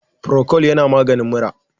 Procold yana maganin mura